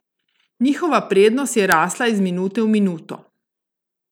Njihova prednost je rasla iz minute v minuto.